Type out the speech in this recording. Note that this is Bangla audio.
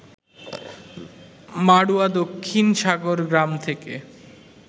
মাড়ুয়া দক্ষিণ সাগর গ্রাম থেকে